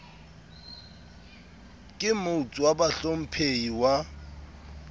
ka motes wa bahlomphehi wa